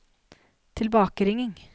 tilbakeringing